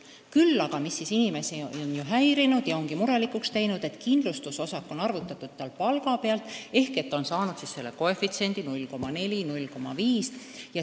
Küll aga on inimesi häirinud ja murelikuks teinud see, et kindlustusosak on arvutatud palga pealt ning väikese palga korral on see koefitsient 0,4 või 0,5.